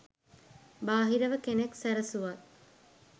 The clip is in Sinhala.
බාහිරව කෙනෙක් සැරසුවත්